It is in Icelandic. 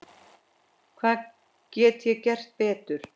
Hvað get ég gert betur?